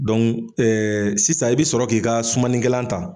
sisan i bi sɔrɔ k'i ka sumanikɛlan ta.